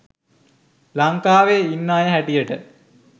ලංකාවේ ඉන්න අය හැටියට?